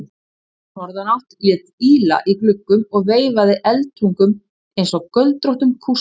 Hvöss norðanáttin lét ýla í gluggum og veifaði eldtungunum einsog göldróttum kústi.